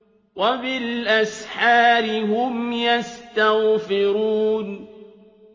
وَبِالْأَسْحَارِ هُمْ يَسْتَغْفِرُونَ